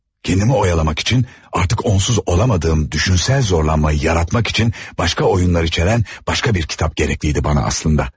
Kendimi oyalamak için artıq onsuz olamadığım düşünsel zorlanmayı yaratmak için başqa oyunlar içeren başqa bir kitab gerekliydi bana aslında.